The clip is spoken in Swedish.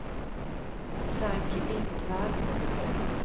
Frank Lindvall